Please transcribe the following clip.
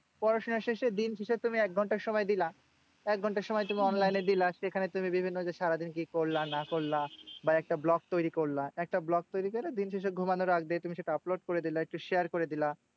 পড়াশোনা শেষে দিন শেষে তুমি একঘন্টা সময় দিলা। একঘন্টা সময় তুমি online এ দিলা। সেখানে তুমি বিভিন্ন যে সারাদিন কি করলা না করলা? বা একটা vlog তৈরী করলা। একটা vlog তৈরী করে দিন শেষে ঘুমানোর আগ দিয়ে তুমি সেটা upload করে দিলা। একটু share করে দিলা।